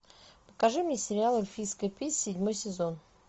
покажи мне сериал эльфийская песнь седьмой сезон